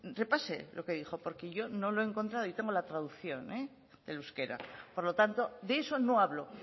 repase lo que dijo porque yo no lo he encontrado y tengo la traducción del euskera por lo tanto de eso no habló